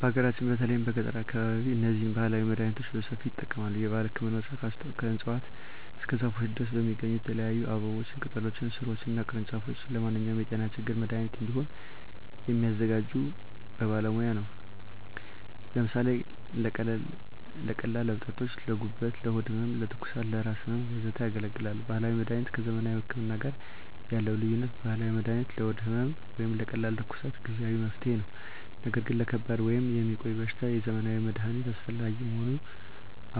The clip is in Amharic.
በሀገራችን በተለይም በገጠራዊ አካባቢዎች እነዚህን ባህላዊ መድሃኒቶች በሰፊው ይጠቀማሉ። የባህል ህክምናዎች ከእፅዋት እስከ ዛፎች ድረስ የሚገኙ የተለያዩ አበቦችን፣ ቅጠሎችን፣ ሥሮችን እና ቅርንጫፎች ለማንኛውም የጤና ችግር መድሃኒት እንዲሆኑ የሚያዘጋጁት በባለሙያ ነው። ለምሳሌ ለቀላል እብጠቶች: ለጉበት፣ ለሆድ ህመም፣ ለትኩሳት፣ ለራስ ህመም፣ ወዘተ ያገለግላሉ። ባህላዊ መድሀኒት ከዘመናዊ ህክምና ጋር ያለው ልዩነት፦ ባህላዊ መድሃኒት ለሆድ ህመም ወይም ለቀላል ትኩሳት ጊዜአዊ መፍትሄ ነው። ነገር ግን ለከባድ ወይም የሚቆይ በሽታ የዘመናዊ መድሃኒት አስፈላጊ መሆኑን